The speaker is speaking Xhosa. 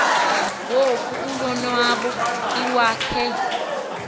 ngoko ulonwabo iwakhe